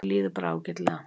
Mér líður bara ágætlega.